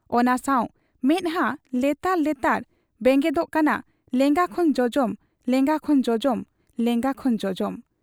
ᱚᱱᱟ ᱥᱟᱶ ᱢᱮᱫᱦᱟᱸ ᱞᱮᱛᱟᱲ ᱞᱮᱛᱟᱲ ᱵᱮᱸᱜᱮᱫᱚᱜ ᱠᱟᱱᱟ ᱞᱮᱸᱜᱟ ᱠᱷᱚᱱ ᱡᱚᱡᱚᱢ, ᱞᱮᱸᱜᱟ ᱠᱷᱚᱱ ᱡᱚᱡᱚᱢ, ᱞᱮᱸᱜᱟ ᱠᱷᱚᱱ ᱡᱚᱡᱚᱢᱢ ᱾